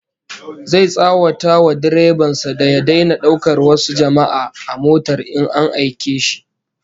Zai tsawata wa direban sa da ya daina daukar wasu jama'a a motar in an aike shi